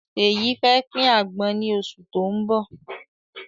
Ṣeyi fẹ́ pin àgbọn ni oṣù tó ń bọ̀.